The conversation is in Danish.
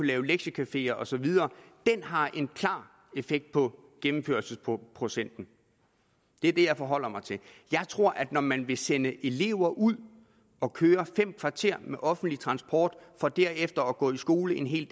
lave lektiecafeer og så videre har en klar effekt på gennemførelsesprocenten det er det jeg forholder mig til jeg tror at når man vil sende elever ud at køre fem kvarter med offentlig transport for derefter at gå i skole en hel